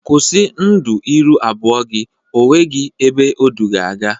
Kwusi ndu ịrụ abụọ gi! O nweghị ebe o du gị aga!